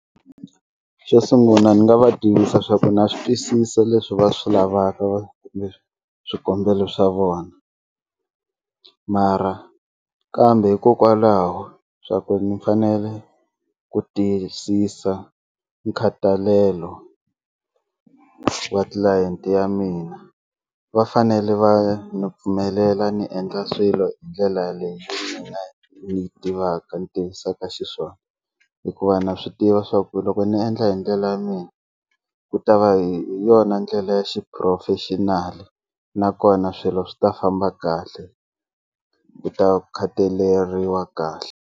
Xo sungula ni nga va tivisa swa ku na swi twisisa leswi va swi lavaka kumbe swikombelo swa vona mara kambe hikokwalaho swa ku ni fanele ku tiyisisa nkhathalelo va tlilayenti ya mina va fanele va ni pfumelela ni endla swilo hi ndlela ni yi tivaka ni tivisaka xiswona hikuva na swi tiva leswaku loko ni endla hi ndlela ya mina ku ta va hi yona ndlela ya xiphurofexinali nakona swilo swi ta famba kahle ku ta khataleriwa kahle.